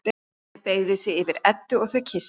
Hemmi beygir sig yfir Eddu og þau kyssast.